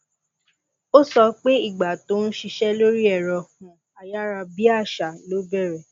ó sọ pé ìgbà tó ń ṣiṣẹ lórí ẹrọ um ayárabíàṣá ló bẹrẹ